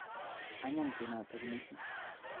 Anyiny tyenotoko missing' .